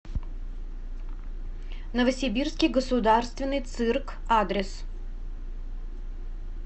новосибирский государственный цирк адрес